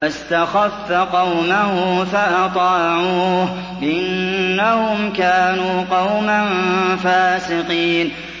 فَاسْتَخَفَّ قَوْمَهُ فَأَطَاعُوهُ ۚ إِنَّهُمْ كَانُوا قَوْمًا فَاسِقِينَ